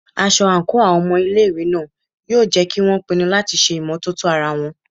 Aṣọ àǹkóò àwọn ọmọ ilé ìwé náà yóò jẹ́ kí won pinu láti ṣe ìmọ́tótó ara wọn.